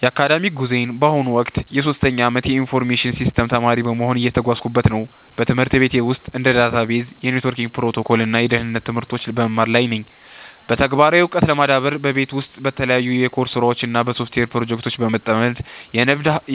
የአካዳሚክ ጉዞዬ በአሁኑ ወቅት የሶስተኛ ዓመት የኢንፎርሜሽን ሲስተምስ ተማሪ በመሆን እየተጓዝኩበት ነው። በትምህርት ቤት ውስጥ እንደ ዳታቤዝ፣ የኔትወርክ ፕሮቶኮል እና የደህንነት ትምህርቶችን በመማር ላይ ነኝ። በተግባራዊ ዕውቀት ለመዳበርም በቤት ውስጥ በተለያዩ የኮድ ስራዎች እና በሶፍትዌር ፕሮጀክቶች በመጠመድ፣